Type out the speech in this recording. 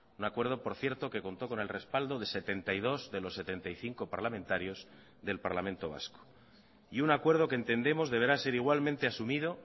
un acuerdo por cierto que contó con el respaldo de setenta y dos de los setenta y cinco parlamentarios del parlamento vasco y un acuerdo que entendemos deberá ser igualmente asumido